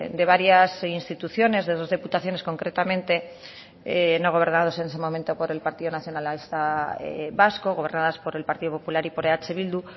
de varias instituciones de dos diputaciones concretamente no gobernados en ese momento por el partido nacionalista vasco gobernadas por el partido popular y eh bildu